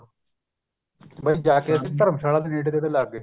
ਬੱਸ ਜਾ ਕੇ ਉੱਥੇ ਧਰਮਸ਼ਾਲਾ ਦੇ ਨੇੜੇ ਤੇੜੇ ਲੱਗ ਗਏ